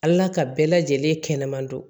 Ala ka bɛɛ lajɛlen kɛnɛman don